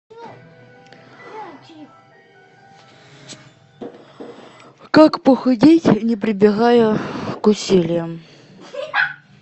как похудеть не прибегая к усилиям